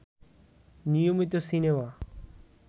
নিয়মিত সিনেমা